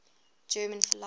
german philosophers